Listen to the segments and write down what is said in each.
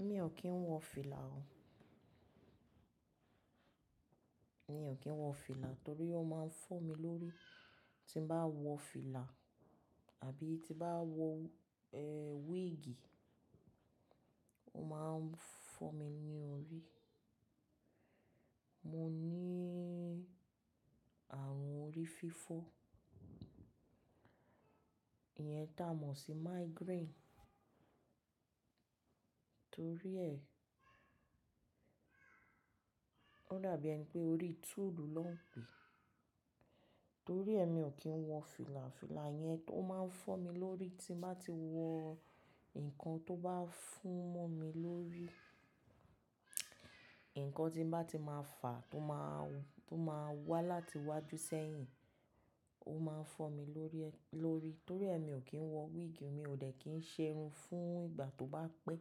Èmi ò kí ń wọ fìlà o. Emi o kí ń wọ fìlà torí ó máa ń fọ́ mi lórí tí bá wọ fìlà àbí tí bá wọ, wíìgì, ó máa ń fọ́ mi ní orí. Mo ní àrùn orí fífọ́, ìyẹn tá a mọ̀ sí migraine, torí ẹ, ó dàbí ẹni pé orí tùlù ló ń pè. Torí ẹ mi ò kí ń wọ fìlà, fìlà yẹn tó máa ń fọ́ mi lórí tí bá ti wọ, ǹkan tó bá fún mọ́ mi lórí, ǹkan tí bá ti máa fàá tó máa, tó máa wá láti iwájú sẹ́yìn, ó máa n fọ́ mi lórí ẹ, lórí. Torí ẹ mi ò kí ń wọ wíìgì, mi ò dẹ̀ kí ń ṣerun fún ìgbà tó bá pẹ́.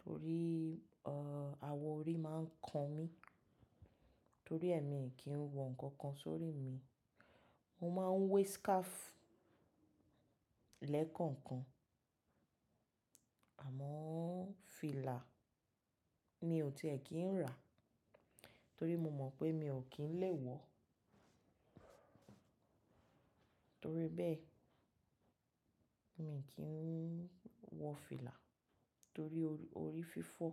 Torí, àwọ̀ orí máa ń kan mí. Torí ẹ mi kì í wọ ǹkankan sórí mi. Mo máa ń wé scarf lẹ́ẹ̀kọ̀ọ̀kan. Àmọ́ fìlà mi ò tìẹ́ kí ń rà torí mo mọ̀ pé mi ò kí ń lè wọ. Torí bẹ́ẹ̀ mi kì ń wọ fìlà torí orí orí fífọ́.